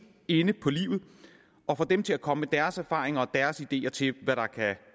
inde på livet og får dem til at komme med deres erfaringer og deres ideer til hvad der kan